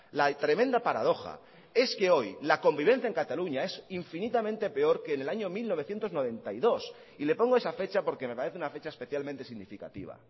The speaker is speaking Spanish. la tremenda paradoja es que hoy la convivencia en cataluña es infinitamente peor que en el año mil novecientos noventa y dos y le pongo esa fecha porque me parece una fecha especialmente significativa